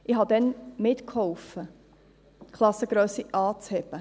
Ich habe damals mitgeholfen, die Klassengrössen anzuheben.